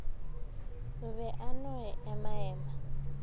o be a no emaema